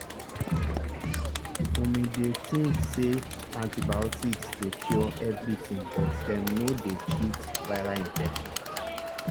umi bin dey think say antibiotics dey cure everything but dem no dey treat viral infections.